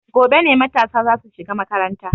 Gobe ne matasa za su shiga makaranta.